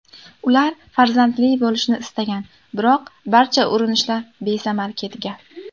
Ular farzandli bo‘lishni istagan, biroq barcha urinishlar besamar ketgan.